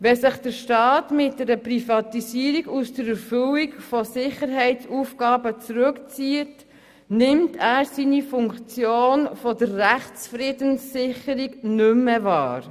Wenn sich der Staat mit einer Privatisierung aus der Erfüllung von Sicherheitsaufgaben zurückzieht, nimmt er seine Funktion der Rechtsfriedenssicherung nicht mehr wahr.